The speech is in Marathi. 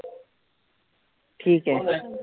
ठीक आहे.